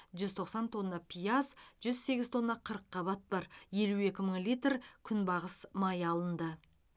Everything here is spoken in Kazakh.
жүз тоқсан тонна пияз жүз сегіз тонна қырыққабат бар елу екі мың литр күнбағыс майы алынды